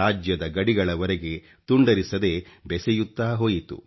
ರಾಜ್ಯದ ಗಡಿಗಳವರೆಗೆ ತುಂಡರಿಸದೇ ಬೆಸೆಯುತ್ತಾ ಹೋಯಿತು